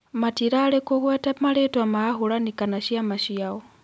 Matirarĩ kũgweta marĩtwa ma ahũranĩri kana ciama ciao